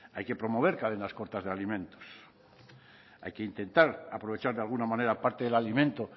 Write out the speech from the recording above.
hay que promover cadenas cortas de alimentos hay que intentar aprovechar de alguna manera aparte del alimento